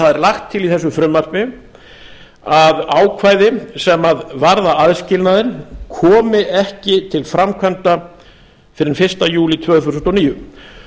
er lagt til í þessu frumvarpi að ákvæði sem varða aðskilnaðinn komi ekki til framkvæmda fyrr en fyrsta júlí tvö þúsund og níu